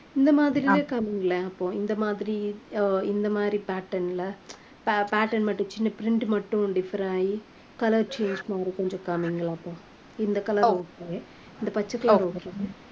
இந்த மாதிரிலயே காமிங்களேன் அப்போ இந்த மாதிரி அஹ் இந்த மாதிரி pattern ல pa~ pattern மட்டும் சின்ன print மட்டும் differ ஆகி color change கொஞ்சம் காமிங்களேன் அப்போ இந்த color okay இந்த பச்சை color okay